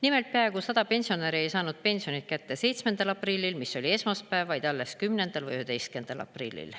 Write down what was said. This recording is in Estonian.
Nimelt, peaaegu 100 pensionäri ei saanud pensionit kätte 7. aprillil, mis oli esmaspäev, vaid alles 10. või 11. aprillil.